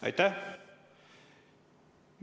Aitäh!